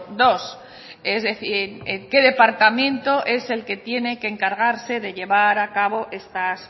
dos es decir qué departamento es el que tiene que encargarse de llevar a cabo estas